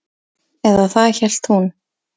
Eða það hélt hún.